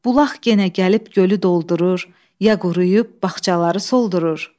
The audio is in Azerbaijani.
Bulaq genə gəlib gölü doldurur, ya quruyub bağçaları soldurur?